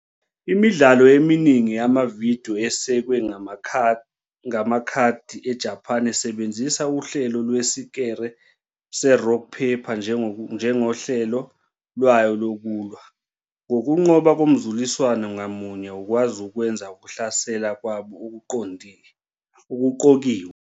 Imidlalo eminingi yamavidiyo esekwe ngamakhadi eJapan isebenzisa uhlelo lwesikere se-rock paper njengohlelo lwayo lokulwa, ngokunqoba komzuliswano ngamunye ukwazi ukwenza ukuhlasela kwabo okuqokiwe.